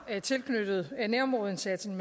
tilknyttet nærområdeindsatsen